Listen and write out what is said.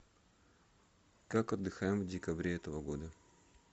как отдыхаем в декабре этого года